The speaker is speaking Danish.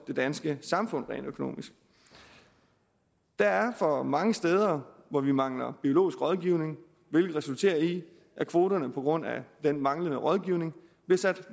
det danske samfund også rent økonomisk der er for mange steder hvor vi mangler biologisk rådgivning hvilket resulterer i at kvoterne på grund af den manglende rådgivning bliver sat